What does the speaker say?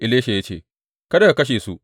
Elisha ya ce, Kada ka kashe su.